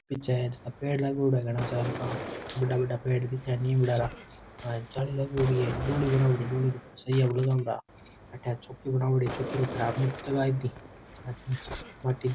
पीछे पेड़ लागेड़ा है घाना सारा का बड़ा बड़ा पेड़ दिखे नीम लारा जाली लगाओदी है --